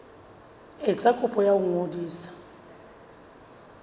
etsa kopo ya ho ngodisa